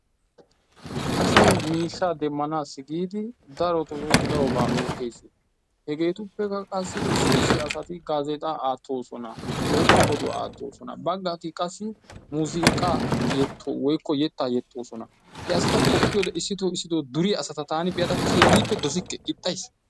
Asay miishshaa demanaasi giidi darotoo darobaa oottees. Hegeetuppekka qassi issi issi asati gazeexxaa aattoosona woykko oduwaa aattoosona. Bagatti qassi muzinqqa woykko yettaa yexxoosona. He asata qoppiyode issito issitoo duriya asata taani be'ada keehiippe dossikke ixxayssi.